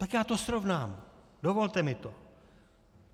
Tak já to srovnám, dovolte mi to.